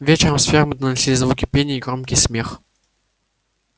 вечером с фермы доносились звуки пения и громкий смех